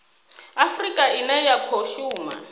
afurika ine ya khou shuma